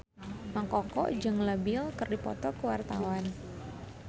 Mang Koko jeung Leo Bill keur dipoto ku wartawan